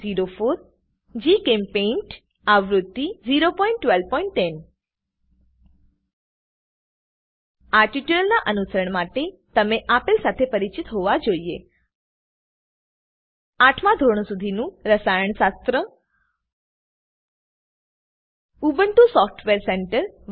1204 જીચેમ્પેઇન્ટ આવૃત્તિ 01210 આ ટ્યુટોરીયલનાં અનુસરણ માટે તમે આપેલ સાથે પરિચિત હોવા જોઈએ આઠમાં ધોરણ સુધીનું રસાયણશાસ્ત્ર ઉબુન્ટુ સોફ્ટવેર સેન્ટર